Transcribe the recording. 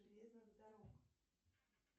железных дорог